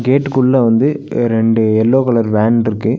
கேட்டுக்குள்ள வந்து அ ரெண்டு எல்லோ கலர் வேன்ருக்கு .